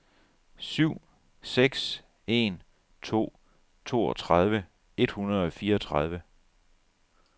syv seks en to toogtredive et hundrede og fireogtredive